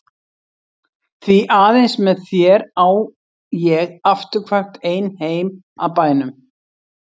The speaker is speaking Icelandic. Því aðeins með þér á ég afturkvæmt ein heim að bænum.